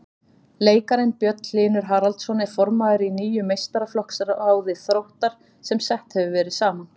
Leikarinn Björn Hlynur Haraldsson er formaður í nýju meistaraflokksráði Þróttar sem sett hefur verið saman.